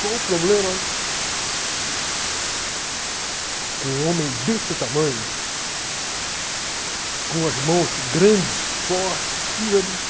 Qual o problema com um homem desse tamanho, com as mãos grandes, fortes, firmes,